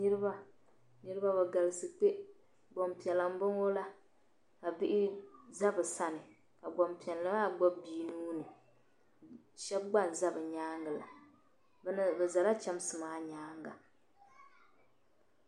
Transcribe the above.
Niriba niriba be galisi kpe gbaŋ'piɛla m-bɔŋɔ la ka bihi za be sana ka gbaŋ'piɛla maa gbubi bi'nuuni shɛba gba n-za be nyaaŋa la be zala chamsi maa nyaaŋa.